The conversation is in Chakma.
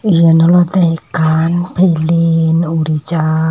iyen olode ekkan pellin uri jar.